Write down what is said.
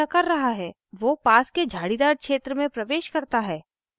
वो पास के झाड़ीदार क्षेत्र में प्रवेश करता है